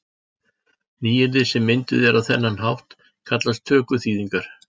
Nýyrði sem mynduð eru á þennan hátt kallast tökuþýðingar.